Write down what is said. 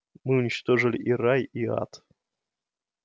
мы уничтожили и рай и ад